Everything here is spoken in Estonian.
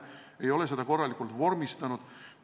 Nad ei ole seda korralikult vormistanud.